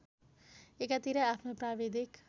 एकातिर आफ्नो प्राविधिक